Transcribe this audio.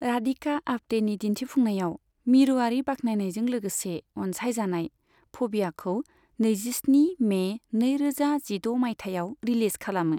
राधिका आप्टेनि दिन्थिफुंनायाव मिरुआरि बाख्नायनायजों लोगोसे अनसायजानाय फ'बियाखौ नैजिस्नि मे नैरोजा जिद' माइथायाव रिलिज खालामो।